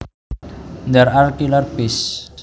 There are killer bees